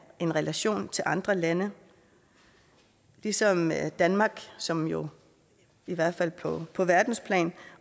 en relation til andre lande ligesom danmark som jo i hvert fald på på verdensplan